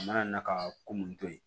A mana na ka ko mun to yen